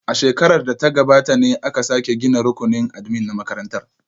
A shekarar da ta gabata ne aka sake gina rukunin admin na makarantar